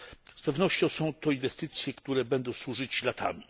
Z pewnością są to inwestycje, które będą służyć latami.